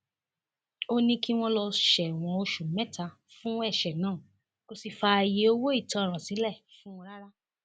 ó ní kí wọn lọọ sẹwọn oṣù mẹta fún ẹsẹ náà kó sì fààyè owó ìtanràn sílẹ fún wọn rárá